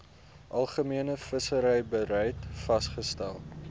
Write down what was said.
algemene visserybeleid vasgestel